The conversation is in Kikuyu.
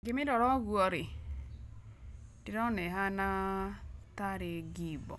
Ingĩ mĩrora ogũo rĩ, ndĩrona ĩhana tarĩ ngimbo,